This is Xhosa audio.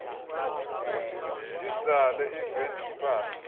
izale iveni yimpahla